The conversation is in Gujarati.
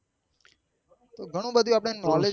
તો ગણું બધું આપડે knowledge